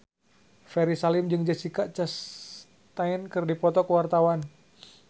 Ferry Salim jeung Jessica Chastain keur dipoto ku wartawan